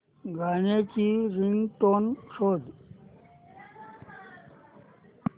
गाण्याची रिंगटोन शोध